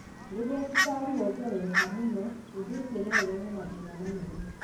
Rĩrĩa cukari wa mwĩrĩ wongerereka mũno, ũndũ ũcio no ũrehe mathĩna manene.